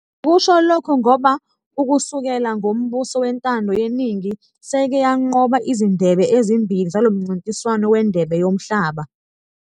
ngikusho lokhu ngoba ukusukela ngombuso wentando yeningi seyike yanqoba izindebe ezimbili zalomncintiswano wendebe yomhlaba.